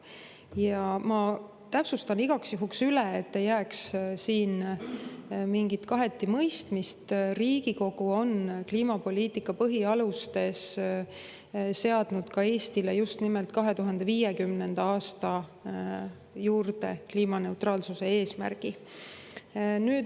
Ja ma täpsustan igaks juhuks üle, et ei jääks siin mingit kaheti mõistmist: Riigikogu on kliimapoliitika põhialustes seadnud Eestile kliimaneutraalsuse eesmärgi just nimelt 2050. aastaks.